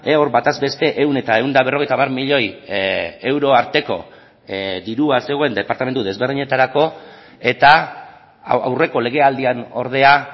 hor bataz beste ehun eta ehun eta berrogeita hamar milioi euro arteko dirua zegoen departamentu desberdinetarako eta aurreko legealdian ordea